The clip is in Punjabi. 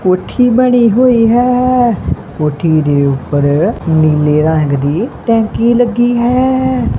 ਕੋਠੀ ਬਣੀ ਹੋਈ ਹੈ ਕੋਠੀ ਦੇ ਉੱਪਰ ਨੀਲੇ ਰੰਗ ਦੀ ਟੈਂਕੀ ਲੱਗੀ ਹੈ।